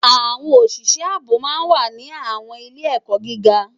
Awòn ósisë àbó má n wá ni àwòn ilé èkò gigá